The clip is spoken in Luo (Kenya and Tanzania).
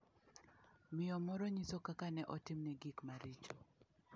Miyo moro nyiso kaka ne otimne gik maricho.